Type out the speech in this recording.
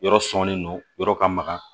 Yɔrɔ sɔnnen don yɔrɔ ka maga